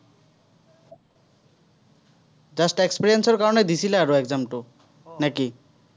just experience ৰ কাৰণে দিছিলা আৰু exam টো। নে কি?